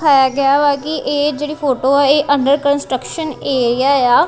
ਹੈਗਾ ਵਾ ਕੀ ਇਹ ਜੇਹੜੀ ਫ਼ੋਟੋ ਆਹ ਇਹ ਅੰਡਰ ਕੰਸਟ੍ਰਕਸ਼ਨ ਏਰੀਆ ਯਾ।